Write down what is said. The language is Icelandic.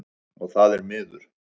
Og það er miður.